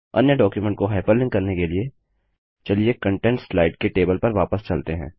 अन्य डॉक्युमेंट को हाइपरलिंक करने के लिए चलिए कन्टेंट्स स्लाइड के टेबल पर वापस चलते हैं